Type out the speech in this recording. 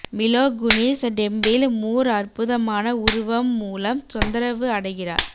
மிலோ Kunis டெம்பிள் மூர் அற்புதமான உருவம் மூலம் தொந்தரவு அடைகிறார்